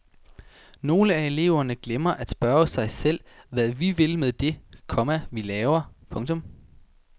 Nogle af eleverne glemmer at spørge sig selv hvad vi vil med det, komma vi laver. punktum